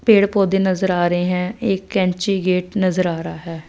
पेड़ पौधे नजर आ रहे हैं एक कैंची गेट नजर आ रहा है।